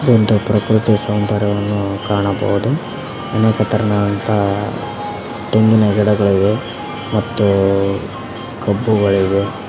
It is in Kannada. ಇದೊಂದು ಪ್ರಕೃತಿ ಸೌಂದರ್ಯವನ್ನು ಕಾಣಬಹುದು ಅನೇಕ ತೆರನಾದಂತ ತೆಂಗಿನ ಗಿಡಗಳಿವೆ ಮತ್ತು ಕಬ್ಬುಗಳಿವೆ.